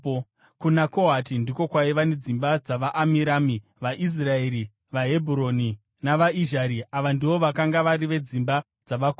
Kuna Kohati ndiko kwaiva nedzimba dzavaAmiramu, vaIsraeri, vaHebhuroni navaIzhari; ava ndivo vakanga vari vedzimba dzavaKohati.